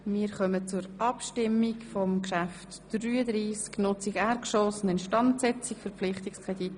Wir kommen zur Abstimmung über den Verpflichtungskredit.